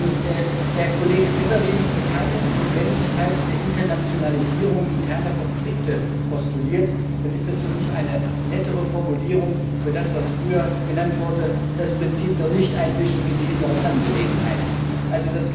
Wenn der Kollege Severin keine Notwendigkeit der Internationalisierung interner Konflikte postuliert, dann ist das für mich eine nettere Formulierung für das, was früher das Prinzip der Nichteinmischung in die inneren Angelegenheiten genannt wurde.